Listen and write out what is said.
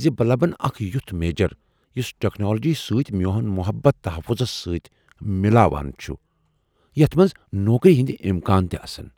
زِ بہٕ لبن اکھ یُتھ میجر یُس ٹیکنالوجی سۭتۍ میون محبت تحفظس سۭتۍ مِلاوان چُھ ، یتھ منز نوکری ہنٛدِ امکانات تہِ آسن۔